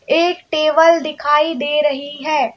एक टेबल दिखाई दे रही है।